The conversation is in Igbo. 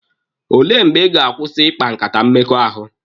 Ole mgbe Ị ga-akwụsị ikpa nkata mmekọahụ?